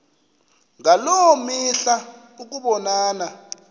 ngaloo mihla ukubonana